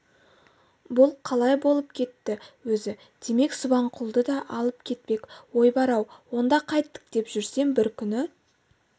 бұл қалай болып кетті өзі демек субанқұлды да алып кетпек ой бар-ау онда қайттік деп жүрсем бір күні